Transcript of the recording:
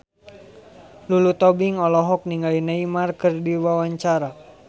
Lulu Tobing olohok ningali Neymar keur diwawancara